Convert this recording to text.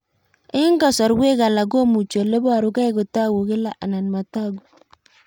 Eng'kasarwek alak komuchi ole parukei kotag'u kila anan matag'u